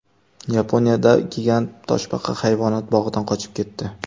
Yaponiyada gigant toshbaqa hayvonot bog‘idan qochib ketdi.